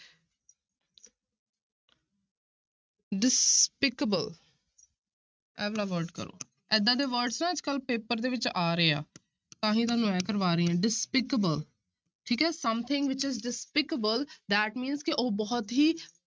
Despicable ਇਹ ਵਾਲਾ word ਕਰੋ ਏਦਾਂਂ ਦੇ words ਨਾ ਅੱਜ ਕੱਲ੍ਹ ਪੇਪਰ ਦੇ ਵਿੱਚ ਆ ਰਹੇ ਆ ਤਾਂ ਹੀ ਤੁਹਾਨੂੰ ਇਹ ਕਰਵਾ ਰਹੀ ਹਾਂ despicable ਠੀਕ ਹੈ something which is despicable that means ਕਿ ਉਹ ਬਹੁਤ ਹੀ